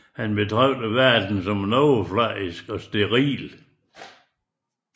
Han betragter verden som overfladisk og steril